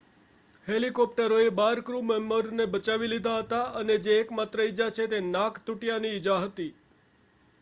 હેલિકોપ્ટરોએ બાર ક્રૂમેમ્બરને બચાવી લીધા હતા અને જે એકમાત્ર ઈજા છે તેમાં નાક તૂટ્યાંની ઈજા હતી